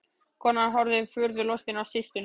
Konan horfði furðu lostin á systurnar.